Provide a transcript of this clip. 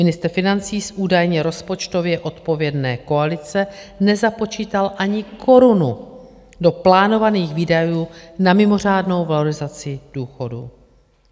Ministr financí z údajně rozpočtově odpovědné koalice nezapočítal ani korunu do plánovaných výdajů na mimořádnou valorizaci důchodů.